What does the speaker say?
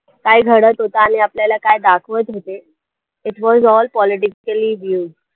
काय घडतं होतं आणि आपल्याला काय दाखवतं होते it was all politically views